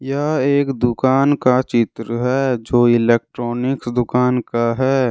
यह एक दुकान का चित्र है जो एक इलेक्ट्रॉनिक दुकान का है।